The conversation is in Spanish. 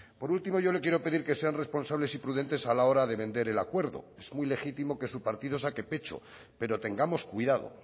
por último yo le quiero pedir que sean responsables y prudentes a la hora de vender el acuerdo es muy legítimo que su partido saque pecho pero tengamos cuidado